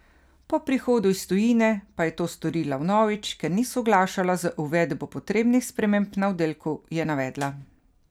Po prihodu iz tujine pa je to storila vnovič, ker ni soglašala z uvedbo potrebnih sprememb na oddelku, je navedla.